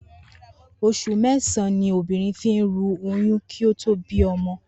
Os̩ù mé̩sàn-án ni obìnrin fi ń ru oyún kí ó tó bí o̩mo̩